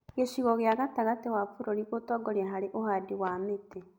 Gĩshigo gĩa gatagatĩ wa bũrũri gũtongoria harĩ uhandi wa mĩtĩ